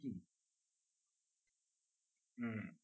হম